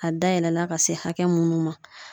A da yɛlɛla ka se hakɛ munnu ma